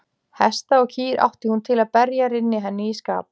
Hesta og kýr átti hún til að berja rynni henni í skap.